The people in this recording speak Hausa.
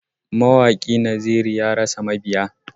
Mawaƙi Naziru ya rasa mabiya.